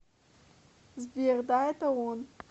сбер да это он